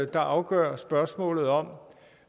der afgør spørgsmålet om